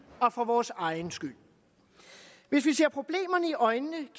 og for vores egen skyld hvis vi ser problemerne i øjnene